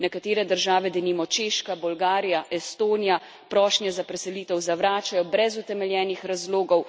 Nekatere države, denimo Češka, Bolgarija, Estonija, prošnje za preselitev zavračajo brez utemeljenih razlogov.